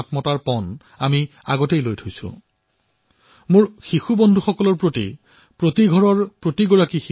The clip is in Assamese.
মোৰ শিশু বন্ধুসকলক আজি মই এটা বিশেষ আগ্ৰহ কৰিম